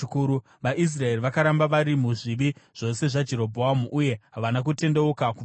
VaIsraeri vakaramba vari muzvivi zvose zvaJerobhoamu uye havana kutendeuka kubva pazviri